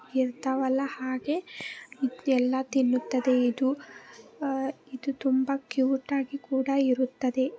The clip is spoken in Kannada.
ಇರ್ತಾವಲ್ಲಾ ಹಾಗೆ ಇದ್ ಎಲ್ಲ ತಿನ್ನುತ್ತದೆ ಇದು ಅಹ್ ಇದು ತುಂಬಾ ಕ್ಯೂಟಾ ಗಿ ಕೂಡ ಇರುತ್ತದೆ.